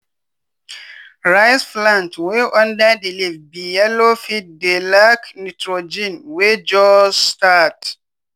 rice plant wey under di leaf be yellow fit dey lack nitrogen wey jus start.